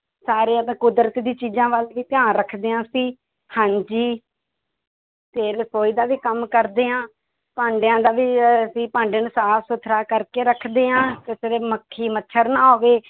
ਸਾਰਿਆਂ ਦਾ ਕੁਦਰਤ ਦੀ ਚੀਜ਼ਾਂ ਵੱਲ ਵੀ ਧਿਆਨ ਰੱਖਦੇ ਹਾਂ ਅਸੀਂ ਹਾਂਜੀ ਤੇ ਰਸੌਈ ਦਾ ਵੀ ਕੰਮ ਕਰਦੇ ਹਾਂ, ਭਾਂਡਿਆਂ ਦਾ ਵੀ ਅਸੀਂ ਭਾਂਡਿਆਂ ਨੂੰ ਸਾਫ਼ ਸੁੱਥਰਾ ਕਰਕੇ ਰੱਖਦੇ ਹਾਂ ਮੱਖੀ ਮੱਛਰ ਨਾ ਆਵੇ